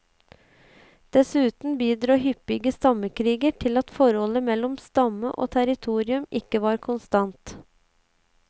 Dessuten bidro hyppige stammekriger til at forholdet mellom stamme og territorium ikke var konstant.